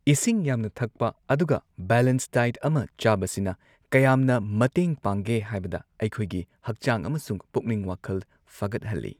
ꯏꯁꯤꯡ ꯌꯥꯝꯅ ꯊꯛꯄ ꯑꯗꯨꯒ ꯕꯦꯂꯦꯟꯁ ꯗꯥꯏꯠ ꯑꯃ ꯆꯥꯕꯁꯤꯅ ꯀꯌꯥꯝꯅ ꯃꯇꯦꯡ ꯄꯥꯡꯒꯦ ꯍꯥꯏꯕꯗ ꯑꯩꯈꯣꯏꯒꯤ ꯍꯛꯆꯥꯡ ꯑꯃꯁꯨꯡ ꯄꯨꯛꯅꯤꯡ ꯋꯥꯈꯜ ꯐꯒꯠꯍꯜꯂꯤ ꯫